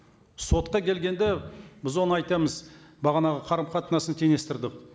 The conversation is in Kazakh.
сотқа келгенде біз оны айтамыз бағанағы қарым қатынасын теңестірдік